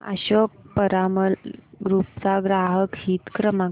Ashok Piramal group चा ग्राहक हित क्रमांक